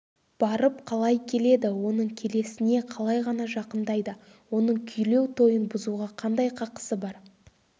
барып қалай келеді оның келесіне қалай ғана жақындайды оның күйлеу тойын бұзуға қандай қақысы бар